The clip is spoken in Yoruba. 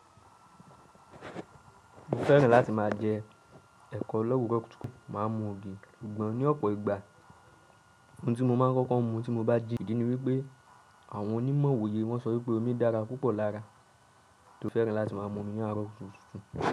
Mo fẹ́ràn láti máa jẹ ẹ̀kọ́ lọ́wuro kutu máa mu ògì. Ṣùgbọ́n ní ọ̀pọ̀ ìgbà ohun tí mo máa ń kọ́kọ́ mu tí mo bá jí ìdí ni wípé àwọn onímọ̀ òye wọ́n sọ wípé omi dára púpọ̀ lára tí ó fẹ́ràn láti máa mu omi ní àárọ̀ tuntun.